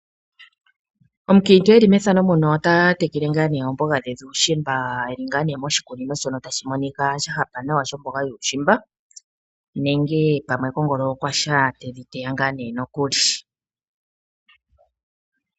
Omukiintu eli methano muno ota tekele ngaa nee oomboga dhe dhuushimba, eli ngaa nee moshikunino shono tashi monika sha hapa nawa, shomboga yuushimba. Nenge pamwe kongolo okwa sha tedhi teya ngaa nee nokuli.